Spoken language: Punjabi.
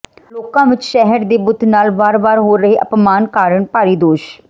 ਲੋਕਾਂ ਵਿੱਚ ਸ਼ਹੀਦ ਦੇ ਬੁੱਤ ਨਾਲ ਵਾਰ ਵਾਰ ਹੋ ਰਹੇ ਅਪਮਾਨ ਕਾਰਣ ਭਾਰੀ ਰੋਸ਼